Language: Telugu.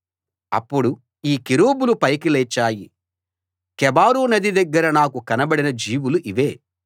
అప్పుడు ఈ కెరూబులు పైకి లేచాయి కెబారు నది దగ్గర నాకు కనబడిన జీవులు ఇవే